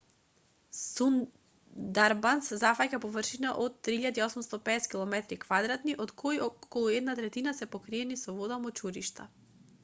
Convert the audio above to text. сундарбанс зафаќа површина од 3.850 км² од кои околу една третина се покриени со вода/мочуришта